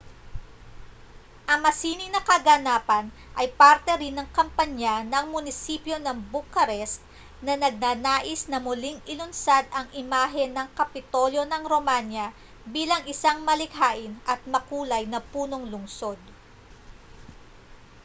ang masining na kaganapan ay parte rin ng kampanya ng munisipyo ng bucharest na nagnanais na muling ilunsad ang imahe ng kapitolyo ng romanya bilang isang malikhain at makulay na punong-lunsod